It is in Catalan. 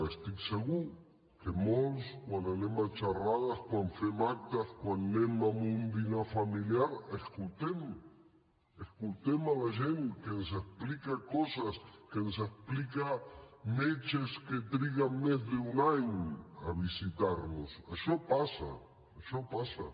estic segur que molts quan anem a xerrades quan fem actes quan anem a un dinar familiar escoltem escoltem la gent que ens explica coses que ens explica metges que triguen més d’un any a visitar nos això passa això passa